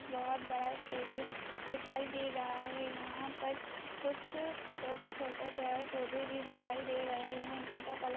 बहुत बड़ा स्टेडियम दिखाई दे रहा है यहां पर कुछ छोटे-छोटे पेड़ पौधे भी दिखाई दे रहे हैं जिनका कलर --